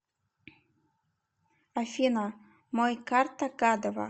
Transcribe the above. афина мой карта гадова